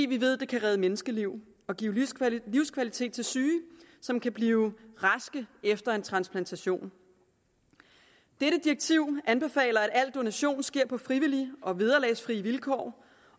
vi ved at det kan redde menneskeliv og give livskvalitet til syge som kan blive raske efter en transplantation direktivet anbefaler at al donation sker på frivillige og vederlagsfrie vilkår